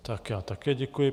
Tak já také děkuji.